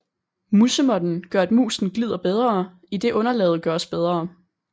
Musemåtten gør at musen glider bedre idet underlaget gøres bedre